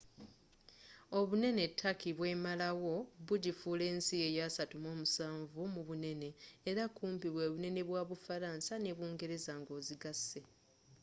obunene turkey bwemalawo bugifuula ensi eya 37 mubunene era kumpi bwebunene bwa bufalansa ne bungereza nga ozigase